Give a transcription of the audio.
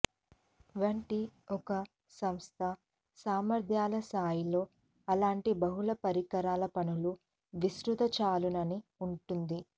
వంటి ఒక సంస్థ సామర్ధ్యాల స్థాయిలో అలాంటి బహుళ పరికరాల పనులు విస్తృత చాలునని ఉంటుంది